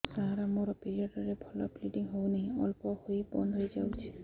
ସାର ମୋର ପିରିଅଡ଼ ରେ ଭଲରେ ବ୍ଲିଡ଼ିଙ୍ଗ ହଉନାହିଁ ଅଳ୍ପ ହୋଇ ବନ୍ଦ ହୋଇଯାଉଛି